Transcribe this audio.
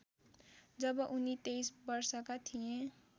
जब उनी २३ वर्षका थिए